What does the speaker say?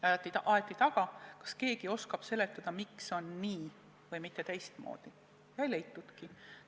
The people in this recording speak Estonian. Aeti taga, kas keegi oskab seletada, miks on nii-, mitte teistmoodi, aga ei leitudki.